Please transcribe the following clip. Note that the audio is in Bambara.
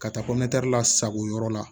Ka taa lasago yɔrɔ la